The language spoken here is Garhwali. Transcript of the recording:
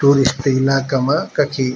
टूरिस्ट इलाका मा कखी --